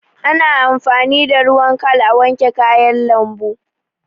Ana amfani da ruwan khal a, wanke kayan lambu